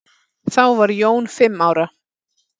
Þá var Jón fimm ára.